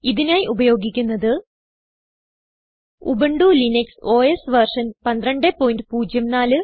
ഇതിനായി ഉപയോഗിക്കുന്നത് Ubuntu Linux OS version 1204